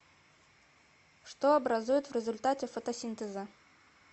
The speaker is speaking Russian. что образует в результате фотосинтеза